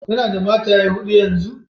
Ya na da mataye Huda yanzun?